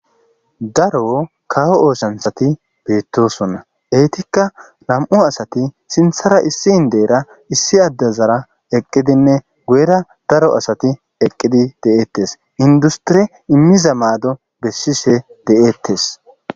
Daro kawo oosanchchati beetosona eetika nam7u asati sinththara issi inddeyira issi addezara eqqidinne guyera daro asati eqqidi de7etees. Inddustiri immiza maado bessishe de7etees.